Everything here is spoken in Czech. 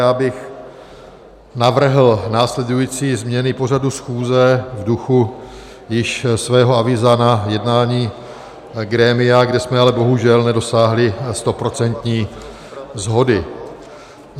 Já bych navrhl následující změny pořadu schůze v duchu již svého avíza na jednání grémia, kde jsme ale bohužel nedosáhli stoprocentní shody.